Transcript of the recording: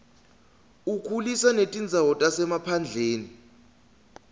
ukhulisa netindzawo tasemaphandleni